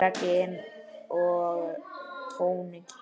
Og meira gin og tónik.